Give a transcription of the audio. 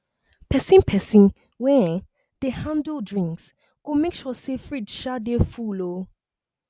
pesin pesin wey um dey handle drinks go make sure say fridge um dey full um